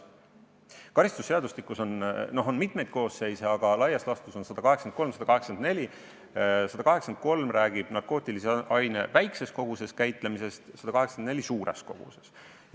Karistusseadustikus § 183 räägib narkootilise aine väikeses koguses käitlemisest ja § 184 suures koguses käitlemisest.